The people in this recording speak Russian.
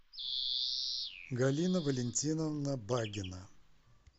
галина валентиновна багина